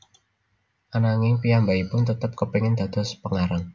Ananging piyambakipun tetep kepengin dados pengarang